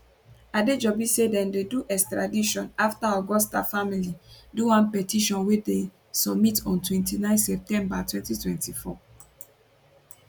adejobi say dem do di extradition afta augusta family do one petition wey dem submit on 29 september 2024